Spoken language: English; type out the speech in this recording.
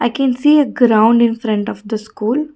i can see a ground in front of the school.